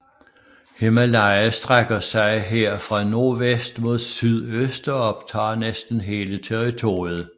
Himalaya strækker sig her fra nordvest mod sydøst og optager næsten hele territoriet